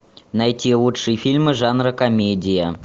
найти лучшие фильмы жанра комедия